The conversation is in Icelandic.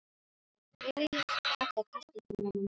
Hann þreif í Halla og kastaði honum úr markinu.